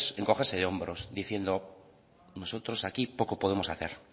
es encogerse de hombros diciendo nosotros aquí poco podemos hacer